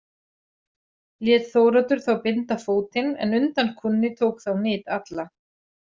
Lét Þóroddur þá binda fótinn en undan kúnni tók þá nyt alla.